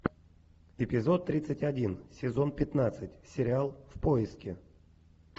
эпизод тридцать один сезон пятнадцать сериал в поиске